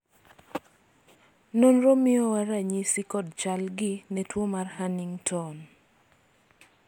nonro miyowa ranyisi kod chal gi ne tuo mar hunington